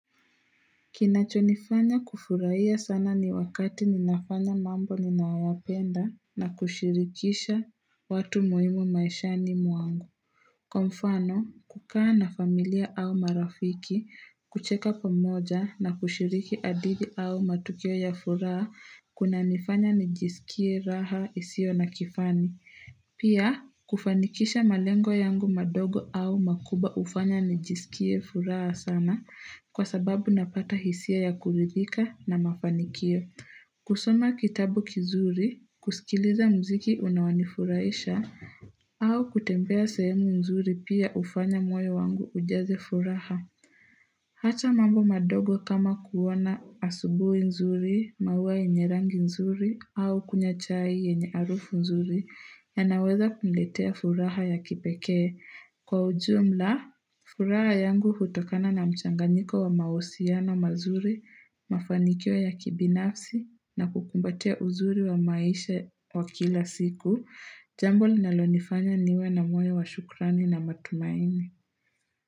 Kinachonifanya kufurahia sana ni wakati ninafanya mambo ninayoyapenda na kushirikisha watu muhimu maisha ni mwangu. Kwa mfano, kukaa na familia au marafiki kucheka pamoja na kushiriki adili au matukio ya furaha kunanifanya nijisikie raha isio na kifani. Pia, kufanikisha malengo yangu madogo au makubwa hufanya nijisikie furaha sana kwa sababu napata hisia ya kuridhika na mafanikio. Kusoma kitabu kizuri, kusikiliza mziki unaonifurahisha, au kutembea sehemu nzuri pia hufanya moyo wangu ujaze furaha. Acha mambo madogo kama kuoana asubuhi nzuri, maua yenye rangi nzuri, au kunywanchai yenye harufu nzuri, yanaweza kuletea furaha ya kipekee. Kwa ujumla, furaha yangu hutokana na mchanganiko wa mauhusiano mazuri, mafanikio ya kibinafsi, na kukumbatia uzuri wa maisha wa kila siku, jambo linalonifanya niwe na moyo wa shukrani na matumaini.